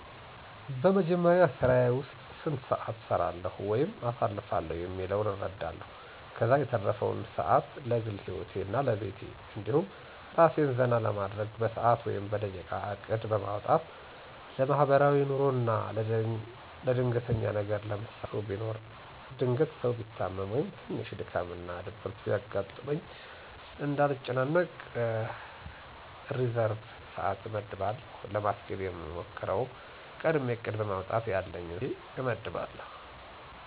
በመጀመሪያ ስራየ ዉስጥ ስንት ሰአት እሰራለዉ ወይም አሳልፋለሁ የሚለዉን እረዳለሁ። ከዛ የተረፈዉን ሰአት ለግል ሂወቴ እና ለቤቴ እንዲሁም አራሴን ዘና ለማድረግ በሰአት ወይም በደቂቃ እቅድ በማዉጣት እከፋፍላለሁ። ለማሕበራዉይ ኑሮ አና ለድንገተኛ ነገር ለምሳሌ ለቅሶ ቢኖር ድንገት ሰው ቢታመም ወይም ትንሽ ድካም እና ድብርት ቢያጋጥመኝ እንዳልጨናነቅ ሪዘርብ ሰአት አመድባለሁ። ለማስኬድ የምሞክረዉ፦ ቀድሜ እቅድ በማዉጣት ያለኝን ሰአት ከፋፍየ አመድባለሁ።